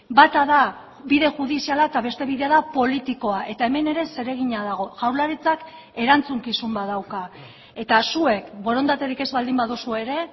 bata da bide judiziala eta beste bidea da politikoa eta hemen ere zeregina dago jaurlaritzak erantzukizun bat dauka eta zuek borondaterik ez baldin baduzue ere